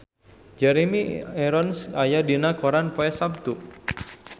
Jeremy Irons aya dina koran poe Saptu